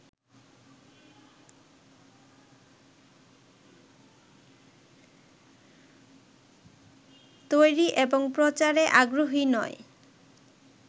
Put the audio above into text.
তৈরী এবং প্রচারে আগ্রহী নয়